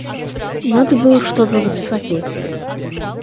надо было что-то записать ей